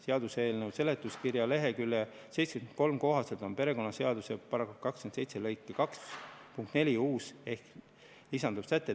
Seaduseelnõu seletuskirja lehekülje 73 kohaselt on perekonnaseaduse § 27 lõike 2 punkt 4 uus ehk lisanduv säte.